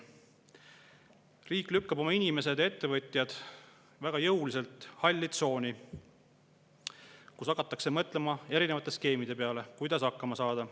Riik lükkab oma inimesed ja ettevõtjad väga jõuliselt halli tsooni, kus hakatakse mõtlema erinevate skeemide peale, kuidas hakkama saada.